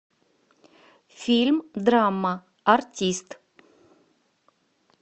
фильм драма артист